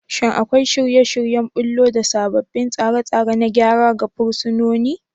Shin akwai shirye-shiryen ɓullo da sabbin tsare-tsare na gyara ga fursunonin?